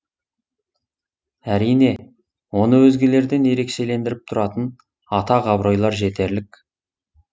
әрине оны өзгелерден ерекшелендіріп тұратын атақ абыройлар жетерлік